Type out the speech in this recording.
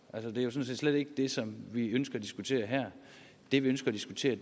det er jo sådan set slet ikke det som vi ønsker at diskutere her det vi ønsker at diskutere